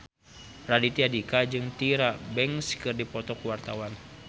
Raditya Dika jeung Tyra Banks keur dipoto ku wartawan